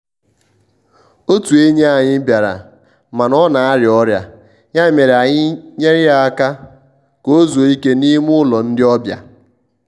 otụ enyi anyị bịaramana ọ na-arịa ọrịaya mere anyị nyere ya aka ka ozuo ike n'ime ụlọ ndi obia.